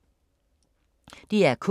DR K